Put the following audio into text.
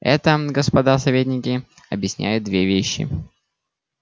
это господа советники объясняет две вещи